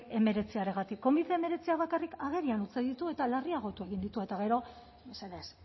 hemeretziagatik covi hemeretziak bakarrik agerian utzi ditu eta larriagotu egin ditu eta gero mesedez